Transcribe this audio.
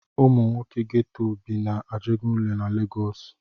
Ụmụ nwoke Geto bi na Ajegunle na Legọs.